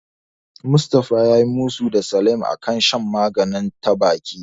Mustafa yayi musu da Salim a kan shan magani ta baki.